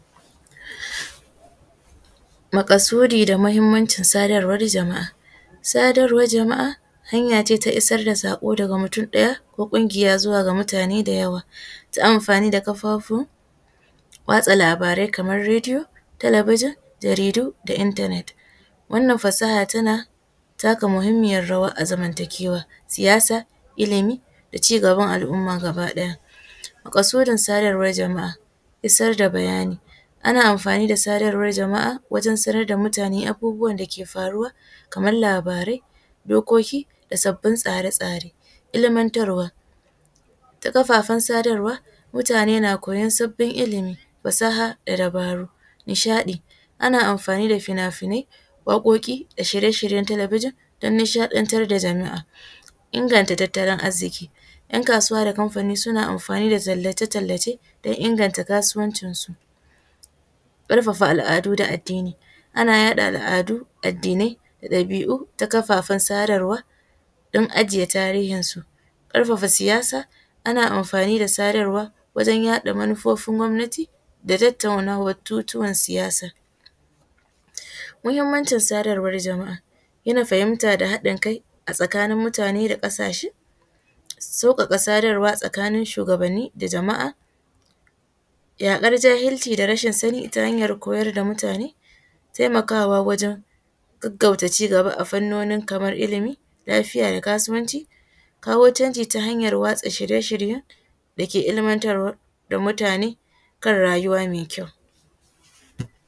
Makasudi da muhimmancin sadarwar jama’a, sadarwar jama’a hanya ce ta isar da saƙo daga mutum ɗaya ko kungiya zuwa ga mutane da yawa ta amfani kafafun watsa labarai kamar rediyo, talabijin, jaridu da internet wannan fasaha tana taka muhimmiyar rawa a zamantakewa siyasa, ilimi, da cigaban al’umma gaba ɗaya, makasudin sadarwar jama’a isar da bayani ana amfani da sadarwar jama’a wajen sanar da mutane abubuwan dake faruwa kamar labarai, dokoki, da sabbin tsare-tsare, ilmantarwa ta kafafen sadarwa mutane na koyan sabin ilimi, fasaha da dabaru, nishaɗi ana amfani da fina-finai, waƙoƙi da shirye-shiryen talabijin don nishaɗantar da jama’a. Inganta tattalin arziki ‘yan kasuwa da kanfani suna amfani da tallece-tallace don inganta kasuwancin su, karfafa al’adu da addini ana yaɗa al’adu, addinai da ɗabi’u ta kafafen sadarwa don ajiye tarihinsu, karfafa siyasa ana amfani da sadarwa wajen yaɗa manufofin gwamnati da tattaunawar tutiyar siyasa. Muhimmancin sadarwar jama’a gina fahimta da haɗin kai a tsakanin mutane da kasashe, saukaka sadarwa tsakanin shuwagabanni da jama’a yakar jahilci da rashin sani ta hanyar koyar da mutane, taimakawa wajen gaggauta cigaba a fannoni kamar ilimi lafiya da kasuwanci, kawo canji ta hanyar watsa dake ilmantara ga mutane kan rayuwa mai kyau.